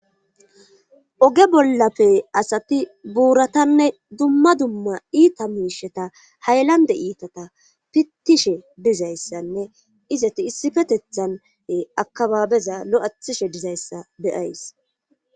Oge bollape asati buuratanne dumma dumma iita miisheta haylande iitata pittishe dizayssanne izati issifetethane akabaabeza lo7athishe dizayssa beyays.